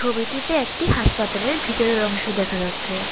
ছবিটিতে একটি হাসপাতালের ভিতরের অংশ দেখা যাচ্ছে।